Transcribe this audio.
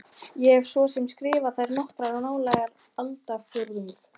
Ég hef svo sem skrifað þær nokkrar í nálega aldarfjórðung.